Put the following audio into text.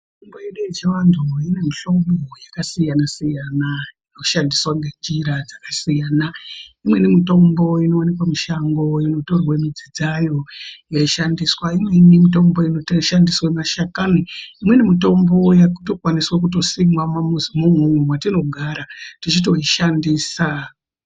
Mitombo yedu yechiantu ine mihlobo yakasiyana siyana inoshandiswa ngenjira dzakasiyana. Imweni mitombo inowanikwa mushango yotorwa midzi dzayo yeishandiswa. Imweni mitombo yeishandiswa mashakani. Imweni mitombo yakutokwanise kusimwa mumamizimwo mwatinogara techitoishandisa.